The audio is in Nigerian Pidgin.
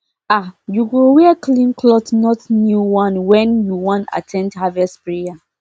um you go wear clean cloth not new onewhen you wan at ten d harvest prayer